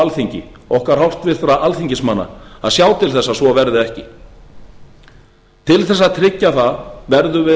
alþingi okkar alþingismanna að sjá til þess að svo verði ekki til þess að tryggja það verðum við